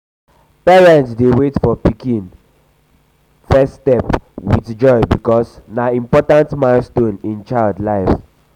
parents dey wait for pikin pikin first steps with um joy because na most important milestone in child life.